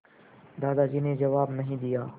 दादाजी ने जवाब नहीं दिया